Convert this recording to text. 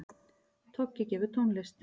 Toggi gefur tónlist